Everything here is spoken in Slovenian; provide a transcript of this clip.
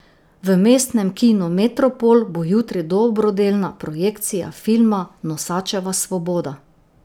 V Mestnem kinu Metropol bo jutri dobrodelna projekcija filma Nosačeva svoboda.